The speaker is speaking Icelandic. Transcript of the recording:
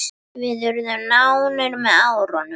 Við urðum nánir með árunum.